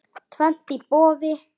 Tvennt í boði.